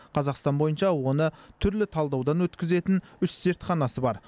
қазақстан бойынша оны түрлі талдаудан өткізетін үш зертханасы бар